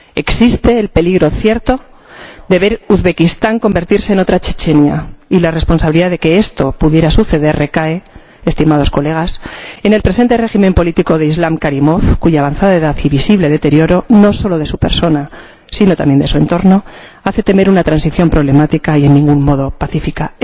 Existe el peligro cierto de ver Uzbekistán convertirse en otra Chechenia y la responsabilidad de que esto pudiera suceder recae, estimados colegas, en el presente régimen político de Islam Karimov, cuya avanzada edad y visible deterioro —no solo de su persona, sino también de su entorno— hacen temer una transición problemática y en ningún modo pacífica.